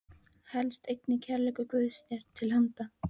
felst einnig kærleikur Guðs þér til handa.